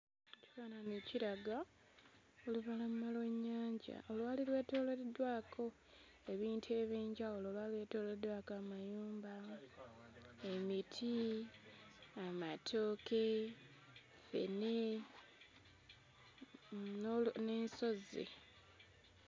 Ekifaanyi kiraga olubalama lw'ennyanja olwali lwetooloddwako ebintu eby'enjawulo lwali lwetooloddwako amayumba, emiti, amatooke, ffene n'olu n'ensozi.